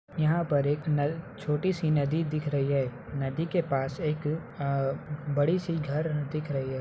यहाँ पर एक नल छोटी-सी नदी दिख रही है नदी के पास एक अ-- बड़ी-सी घर दिख रही है।